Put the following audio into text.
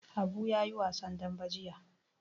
Habu ya yi wasan dambe jiya.